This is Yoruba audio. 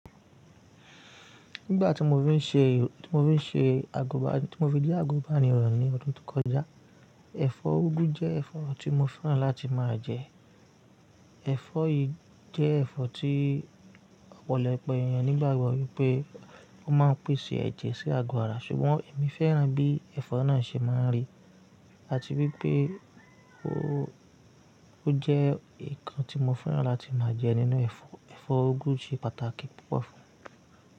Nígbà tí mo fi ń ṣe ìró, tí mo fi ṣe àgùbà, tí mo fi je àgùnbàniro ní ọdún tó kọjá, ẹ̀fọ́ úgú jẹ́ ẹ̀fọ́ tí mo fẹ́ràn láti máa jẹ. Ẹ̀fọ́ yìí jẹ́ ẹ̀fọ́ tí ọ̀pọ̀lọpọ̀ èèyàn nígbàgbọ́ wípé wọ́n máa ń pèsè ẹ̀jẹ̀ sí agbára ṣùgbọ́n èmi fẹ́ràn bí ẹ̀fọ́ náà ṣe máa ń rí àti bí pé ó, ó jẹ́ nǹkan tí mo fẹ́ràn láti máa jẹ nínú ẹ̀fọ́. Ẹ̀fọ́ úgú ṣe pàtàkì púpọ̀ fún.